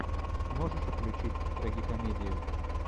можешь включить трагикомедию